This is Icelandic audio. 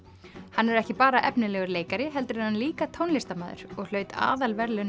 hann er ekki bara efnilegur leikari heldur er hann líka tónlistarmaður og hlaut aðalverðlaun